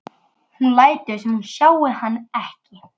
Hún lætur sem hún sjái hann ekki.